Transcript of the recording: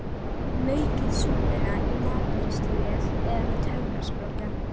Maukið súpuna í matvinnsluvél eða með töfrasprota.